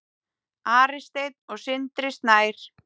Ari Steinn og Sindri Snær.